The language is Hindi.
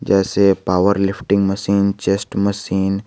जैसे पावरलिफ्टिंग मशीन चेस्ट मशीन --